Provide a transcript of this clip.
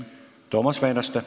Toomas Väinaste.